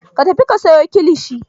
Ka tafi ka sayo kilishi!